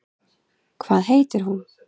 Hvað heitir hún?